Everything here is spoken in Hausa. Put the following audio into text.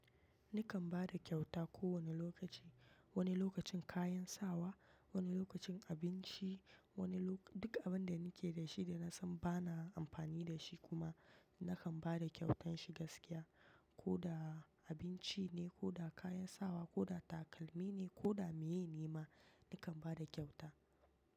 Nikan bada kyauta kowanne lokaci. Wani lokacin kayan sawa, wani lokacin abinci, wani lokaci duk abinda nike da shi da na san ba na amfani dashi kuma nakan bada kyautan shi gaskiya. Ko da abinci ne, ko da kayan sawa, ko da takalmi ne, ko da meye ne ma nikan ba da kyauta.